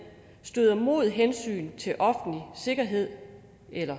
støder mod hensynet til offentlig sikkerhed